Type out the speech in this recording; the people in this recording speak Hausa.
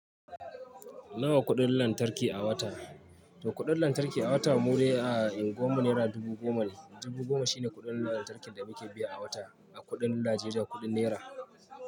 Nawa kuɗin lantarki a wata? To kuɗin lantarki a wata Mudai a unguwar mu naira dubu goma ne. Dubu goma shine kuɗin lantarkin da muke biya a wata a kuɗin Najeriya, kuɗin naira.